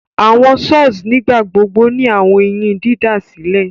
Awọn saws nigbagbogbo ni awọn eyin didasilẹ